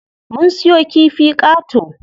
Mun siyo kifi qato.